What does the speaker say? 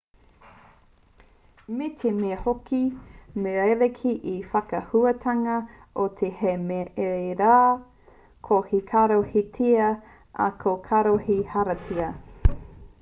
me te mea hoki me rerekē te whakahuatanga o te r hei me te rr ko te caro he tia ā ko te carro he hāriata